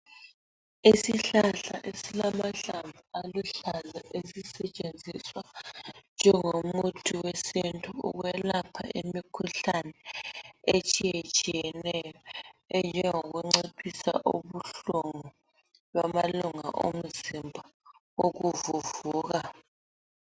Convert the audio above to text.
Isihlahla esilamahlamvu aluhlaza esisetshenziswa njengo muthi wesintu ukwelapha imikhuhlane etshiye tshiyeneyo enjengoku nciphisa ubuhlungu bamalunga omzimba ukuvuvuka.